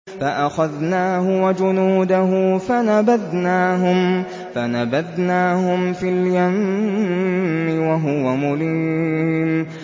فَأَخَذْنَاهُ وَجُنُودَهُ فَنَبَذْنَاهُمْ فِي الْيَمِّ وَهُوَ مُلِيمٌ